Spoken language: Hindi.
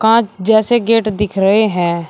पांच जैसे गेट दिख रहे हैं।